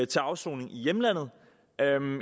til afsoning i hjemlandet